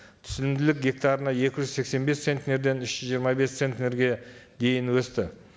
түсінімділік гектарына екі жүз сексен бес центнерден үш жүз жиырма бес центнерге дейін өсті